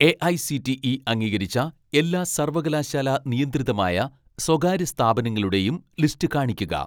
AICTE അംഗീകരിച്ച എല്ലാ സർവകലാശാലാനിയന്ത്രിതമായ സ്വകാര്യ സ്ഥാപനങ്ങളുടെയും ലിസ്റ്റ് കാണിക്കുക